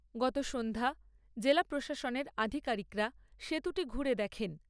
গত সন্ধ্যায় জেলা প্রশাসনের আধিকারিকরা সেতুটি ঘুরে দেখেন।